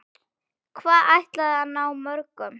Hvað ætliði að ná mörgum?